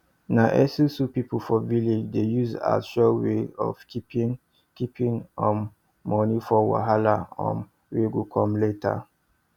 na esusu people for village dey use as sure way of keeping keeping um money for wahala um wey go come later